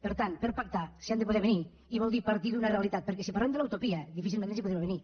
per tant per pactar s’hi han de poder avenir i vol dir partir d’una realitat perquè si parlem de la utopia difícilment ens hi podrem avenir